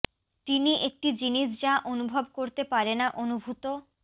তিনি একটি জিনিস যা অনুভব করতে পারে না অনুভূত